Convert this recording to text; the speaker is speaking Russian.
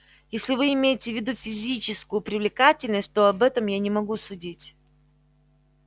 если вы имеете в виду физическую привлекательность то об этом я не могу судить